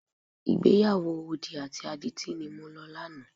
Ìgbéyàwó odi àti adití ni mo lọ lánàá.